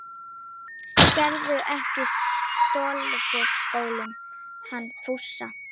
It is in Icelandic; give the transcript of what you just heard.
Geturðu ekki stolið skónum hans Fúsa!